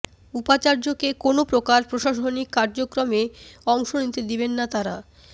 উপাচার্যকে কোনো প্রকার প্রশাসনিক কার্যক্রমে অংশ নিতে দিবেন না তারা